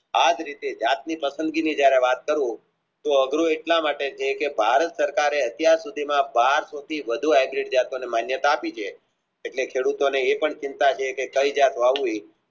આજ રીતે જાતની પસંદગીની જયારે વાત કરું તો અઘરું એટલા માટે છે કે ભારત સરકારે એટલે સુધીના માન્યતા આપી એટલે ખેડુતોનુ એ પણ ચિંતા છે કે થઈ જાય વાયુ